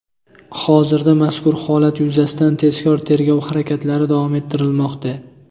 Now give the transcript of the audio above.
Hozirda mazkur holat yuzasidan tezkor-tergov harakatlari davom ettirilmoqda.